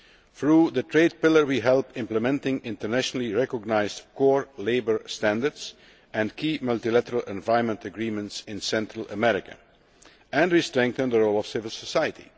Through the trade pillar we help implement internationally recognised core labour standards and key multilateral environment agreements in Central America, and we strengthen the role of civil society.